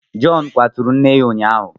Jọn kwaturu nne ya ụnyaahụ.